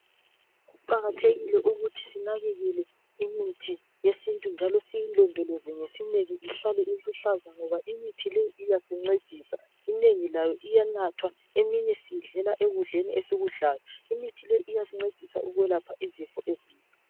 Kuqakathekile ukuthi sinakekele imithi yesintu njalo siyilondoloze ngesineke ihlale iluhlaza ngoba imithi le iyasincedisa. Inengi layo iyanathwa eminye siyidlela ekudleni esikudlayo. Imithi le iyasincedisa ukwelapha izifo ezinengi.